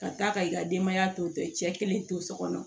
Ka taa ka i ka denbaya to i cɛ kelen to so kɔnɔ